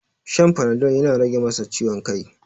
Shan panadol yana rage masa ciwon kai.